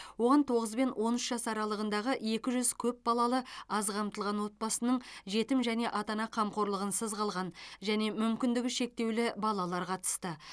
оған тоғыз бен он үш жас аралығындағы екі жүз көпбалалы аз қамтылған отбасының жетім және ата ана қамқорлығынсыз қалған және мүмкіндігі шектеулі балалар қатысты